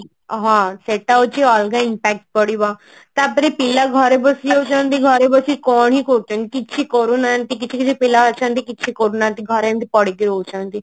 ହଁ ସେଟା ହଉଛି ଅଲଗା impact ପଡିବ ତାପରେ ପିଲା ଘରେ ବସିଲେ ସେନ୍ତି ଘରେ ବସି କଣ ହିଁ କରୁଛନ୍ତି କିଛି କରୁନାହାନ୍ତି କିଛି କିଛି ପିଲା ଅଛନ୍ତି କିଛି କରୁନାହାନ୍ତି ଘରେ ଏମତି ପଡିକି ରହୁଛନ୍ତି